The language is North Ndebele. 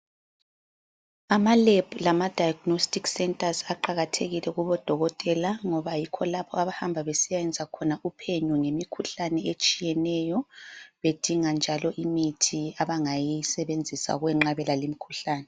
Amalab lamadiagnostic centers aqakatheile kubodokotela ngoba yikho abahamba besiyayenza khona uphenyo ngemikhuhlane etshiyeneyo bedinga njalo imithi abangayisebenzisa ukwenqabela limkhuhlane.